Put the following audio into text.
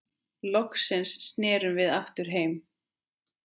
Loksins snerum við aftur heim.